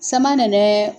Sama nana